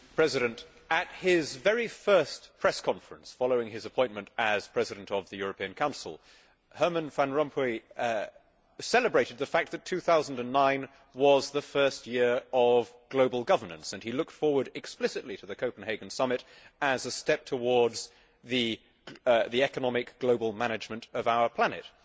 Mr President, at his very first press conference following his appointment as President of the European Council, Herman Van Rompuy celebrated the fact that 2009 was the first year of global governance and he looked forward explicitly to the Copenhagen Summit as a step towards the economic global management of our planet.